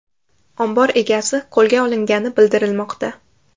Ombor egasi qo‘lga olingani bildirilmoqda.